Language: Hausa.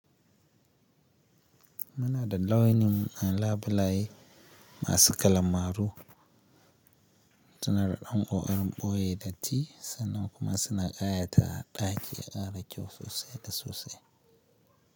Mana da launi a labulai masu kalamaru, suna da ɗan ƙokarin ɓoye datti sannan kuma suna ƙayata a ɗaki an rage sosai da sosai.